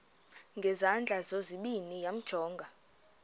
ngezandla zozibini yamjonga